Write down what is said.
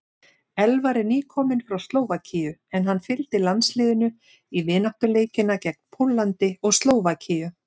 Elvar er nýkominn frá Slóvakíu en hann fylgdi landsliðinu í vináttuleikina gegn Póllandi og Slóvakíu.